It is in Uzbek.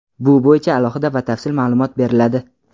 bu bo‘yicha alohida batafsil ma’lumot beriladi.